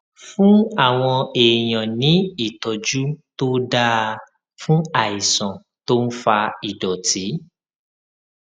fún àwọn èèyàn ní ìtójú tó dáa fún àìsàn tó ń fa ìdòtí